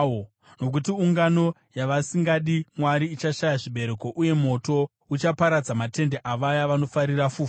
Nokuti ungano yavasingadi Mwari ichashaya zvibereko, uye moto uchaparadza matende avaya vanofarira fufuro.